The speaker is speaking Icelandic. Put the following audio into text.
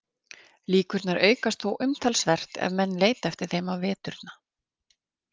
Líkurnar aukast þó umtalsvert ef menn leita eftir þeim á veturna.